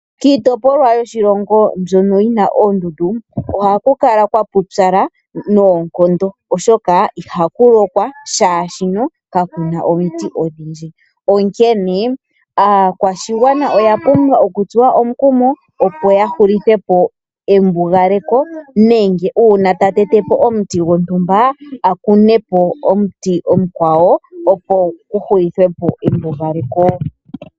Kiitopolwa yoshilongo mbyono yina oondundu ohaku kala kwa pupyala noonkondo oshoka ihaku lokwa oshoka kakuna omiti odhindji, onkene aakwashigwana oyapumbwa okutsuwa omukumo opo ya hulithepo embugaleko nenge uuna ta tetepo omuti gontumba akunepo omuti omukwawo opo ku hulithepo embugaleko.